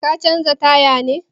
Ka canza taya ne?